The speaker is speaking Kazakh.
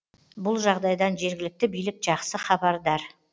бұл жағдайдан жергілікті билік жақсы хабардар